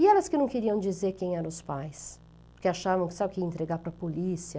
E elas que não queriam dizer quem eram os pais, porque achavam que isso aqui ia entregar para a polícia.